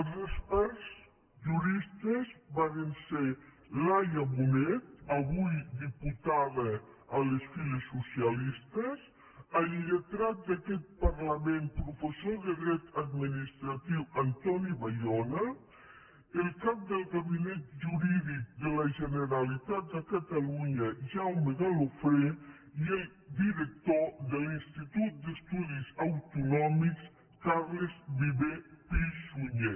els experts juristes varen ser laia bonet avui diputada a les files socialistes el lletrat d’aquest parlament professor de dret administratiu antoni bayona el cap del gabinet jurídic de la generalitat de catalunya jaume galofré i el director de l’institut d’estudis autonòmics carles viver pisunyer